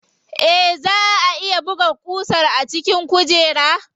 Eh, zaa a iya buga ƙusar a cikin kujerar.